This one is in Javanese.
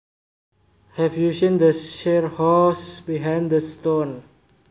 Have you seen the seahorse behind the stone